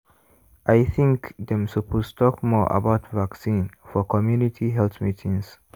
i think dem suppose talk more about vaccine for community health meetings.